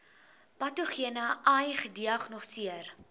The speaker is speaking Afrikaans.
patogene ai gediagnoseer